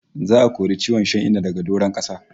Za'a kori ciwon shan Inna daga doron kasa